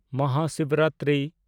Mahashivratri